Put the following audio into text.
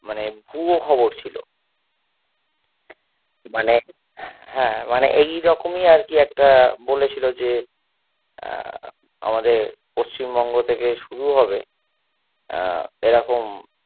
মানে ভুয়ো খবর ছিল মানে হ্যাঁ মানে এই রকমই আরকি একটা বলেছিলো যে আহ আমাদের পশ্চিমবঙ্গ থেকে শুরু হবে আহ এরকম